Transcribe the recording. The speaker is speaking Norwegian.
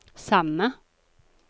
samme